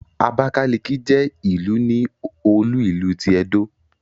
Abákálíkí jẹ́ ìlú ní olú ìlú ti Ẹdó